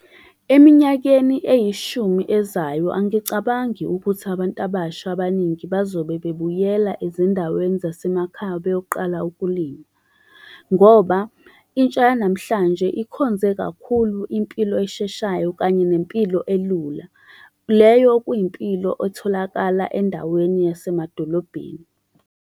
Eminyakeni eyishumi ezayo, angicabangi ukuthi abantu abasha abaningi bazobe bebuyela ezindaweni zasemakhaya beyoqala ukulima. Ngoba, intsha yanamhlanje ikhonze kakhulu impilo esheshayo, kanye nempilo elula. Leyo kuyimpilo etholakala endaweni yasemadolobheni.